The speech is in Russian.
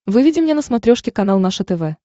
выведи мне на смотрешке канал наше тв